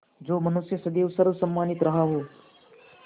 जो मनुष्य सदैव सर्वसम्मानित रहा हो